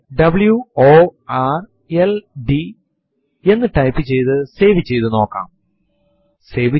prompt ൽ type ചെയ്യുകT echo space minus e single quot നുള്ളിൽ ബാക്ക് സ്ലാഷ് എന്ന കമാൻഡ് കൊടുത്തു എന്റർ അമർത്തുക